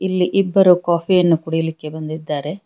ಇಲ್ಲಿ ಇಬ್ಬರು ಕಾಫಿ ಯನ್ನು ಕುಡಿಲಿಕ್ಕೆ ಬಂದಿದ್ದಾರೆ.